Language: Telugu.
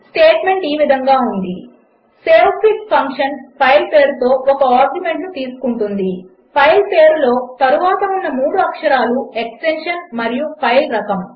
స్టేట్మెంట్ ఇది సేవ్ఫిగ్ ఫంక్షన్ ఫైల్ పేరుతో ఒక ఆర్గ్యుమెంట్ తీసుకుంటుంది ఫైల్ పేరులో తరువాత ఉన్న 3 అక్షరాలు ఎక్స్టెన్షన్ మరియు ఫైల్ రకము